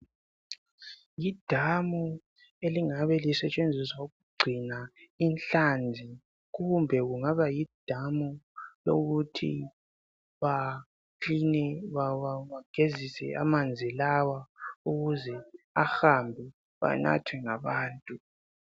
Yidamu elingabe isetshenziswa ukugcina inhlanzi kumbe kungaba yidamu lokuthi bakiline, bagezise amanzi lawa ukuze ahambe anathwe ngabantu.